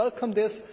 I welcome this.